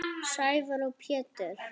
Sævar og Pétur.